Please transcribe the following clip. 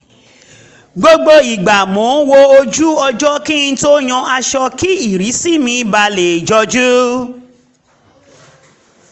gbogbo ìgbà mo ń wo ojú ọjọ́ kí n tó yan aṣọ kí ìrísí mi ba lẹ̀ jọjú